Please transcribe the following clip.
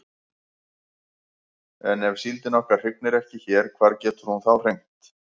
En ef síldin okkar hrygnir ekki hér hvar getur hún þá hrygnt?